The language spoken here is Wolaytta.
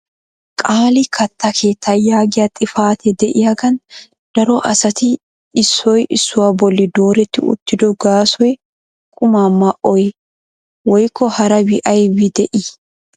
Qaali katta keetta yaagiya xifatee de'iyaagan daro asati issoy issuwaa bolli dooretti uttido gaasoy quma ma"oyye woykko harabi aybbi de'ii?